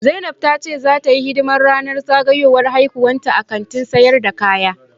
Zainab ta ce zata yi hidiman ranan zagayan haihuwanta a Kantin sayar da kaya.